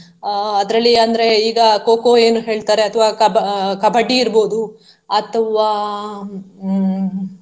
ಅಹ್ ಅದರಲ್ಲಿ ಅಂದ್ರೆ ಈಗ kho kho ಏನು ಹೇಳ್ತಾರೆ ಅಥವಾ Kaba~ Kabaddi ಇರ್ಬೋದು ಅಥವಾ ಹ್ಮ್.